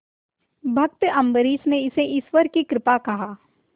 भक्त अम्बरीश ने इसे ईश्वर की कृपा कहा